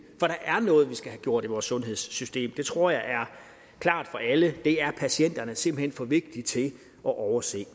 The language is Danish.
der er noget vi skal have gjort i vores sundhedssystem det tror jeg er klart for alle det er patienterne simpelt hen for vigtige til at overse